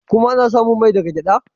Kuma ana samun mai daga gyada.